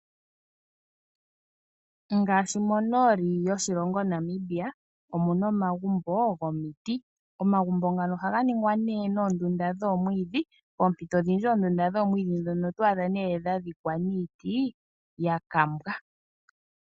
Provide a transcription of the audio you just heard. Ngaashi monooli yoshilongo Namibia, omuna omagumbo gomiti. Omagumbo ngano ohaga ningwa nee noondunda dhoomwiidhi, poompito odhindji oondunda dhoomwiidhi ndhono oto adha nee dha dhikwa niiti ya kambwa.